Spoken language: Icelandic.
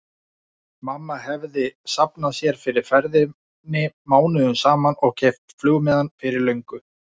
Mamma hefði safnað sér fyrir ferðinni mánuðum saman og keypt flugmiðann fyrir löngu.